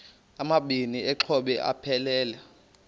amabini exhobe aphelela